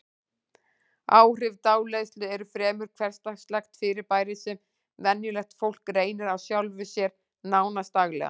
Áhrif dáleiðslu eru fremur hversdagslegt fyrirbæri sem venjulegt fólk reynir á sjálfu sér, nánast daglega.